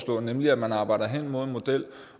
gå nemlig at man arbejder hen imod en model